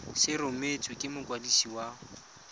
se rebotswe ke mokwadisi wa